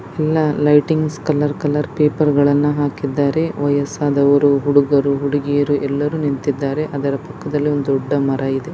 ಎಲ್ಲಾ lightings colour colour paper-- ಹಾಕಿದ್ದಾರೆ ವಯಸ್ಸಾದವರು ಹುಡುಗರು ಹುಡುಗಿಯರು ಎಲ್ಲರು ನಿಂತಿದ್ದಾರೆ ಅದರ ಪಕ್ಕದಲ್ಲಿ ಒಂದು ಒಂದು ದೊಡ್ಡ ಮರ ಇದೆ.